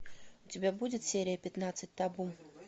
у тебя будет серия пятнадцать табу